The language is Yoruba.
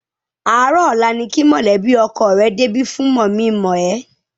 Àárọ̀ ọ̀la ni kí mọ̀lẹ́bí ọkọ rẹ débi fún mọ̀-mí-n-mọ̀-ẹ́.